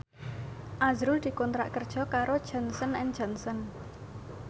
azrul dikontrak kerja karo Johnson and Johnson